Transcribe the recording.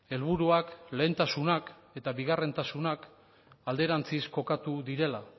helburuak lehentasunak eta bigarrentasunak alderantziz kokatu direla